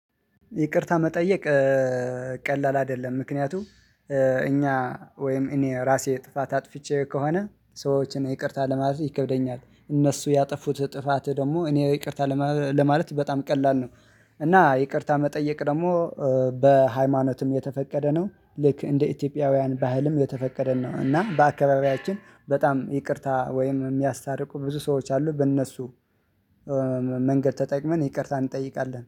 ይቅርታ መጠየቅ ቀላል አይደለም ምክንያቱም እኛ ወይም እኔ ራሴ ጥፋት አጥፍቼ ከሆነ ሰዎችን ይቅርታ ለማለት ይከብደኛል። እነሱ ያጠፉት ጥፋት ደግሞ እኔ ይቅርታ ለማለት በጣም ቀላል ነው። እና ይቅርታ መጠየቅ ደግሞ። በሃይማኖትም የተፈቀደ ነው ልክ እንደ ኢትዮጵያውያን ባህልም የተፈቀደን ነው። እና በአካባቢያችን በጣም ይቅርታ ወይም የሚያሳታርቁ ብዙ ሰዎች አሉ። በእነሱ መንገድ ተጠቅመን ይቅርታ እንጠይቃለን